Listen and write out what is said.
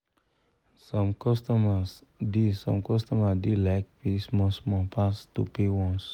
some customer da some customer da like pay small small pass to pay once